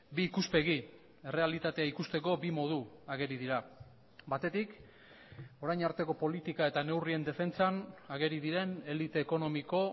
bi ikuspegi errealitatea ikusteko bi modu ageri dira batetik orain arteko politika eta neurrien defentsan ageri diren elite ekonomiko